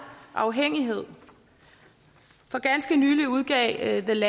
afhængighed for ganske nylig udgav et